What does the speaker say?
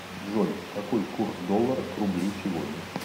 джой какой курс доллара к рублю сегодня